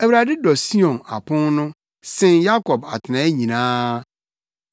Awurade dɔ Sion apon no sen Yakob atenae nyinaa.